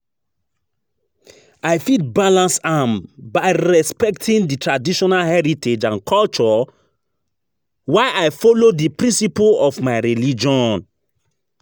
I fit balance am by respecting di traditional heritage and culture, while i follow di principle of my religion.